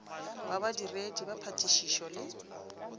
wa badiredi ba phatišišo le